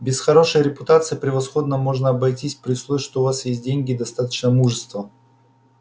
без хорошей репутации превосходно можно обойтись при условии что у вас есть деньги и достаточно мужества